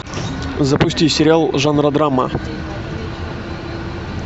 запусти сериал жанра драма